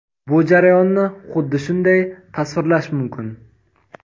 Bu jarayonni xuddi shunday tasvirlash mumkin.